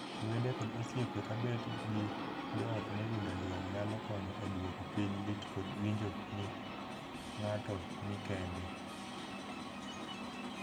Wede kod osiepe ka bet gi joot moyudo liel nyalo konyo e duoko piny lit kod winjo ni ng'ato ni kende.